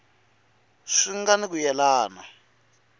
swi nga ni ku yelana